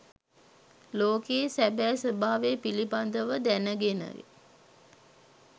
ලෝකයේ සැබෑ ස්වභාවය පිළිබඳව දැනගෙන